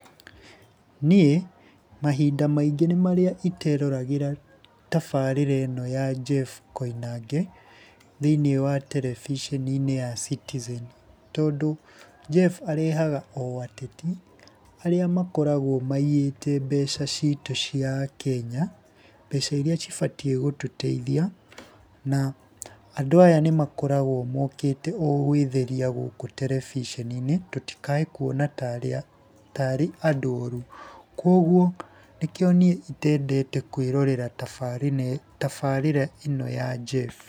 Niĩ mahinda maingĩ nĩ marĩa iteroragĩra tabarĩra ĩno ya Jeff Koinange, thĩinĩ wa terebiceni-inĩ ya Citizen. Tondũ Jeff arehaga o ateti, arĩa makoragwo maiyĩte mbeca citu cia akenya, mbeca iria cibatiĩ gũtũteithia, na andũ aya nĩmakoragwo mokĩte o gũĩtheria gũkũ terebicinenĩ tũtikae kuona tarĩ andũ oru. Kwoguo nĩkĩo niĩ itendete kwĩrorera tabarĩra, tabarĩra ĩno ya Jeff.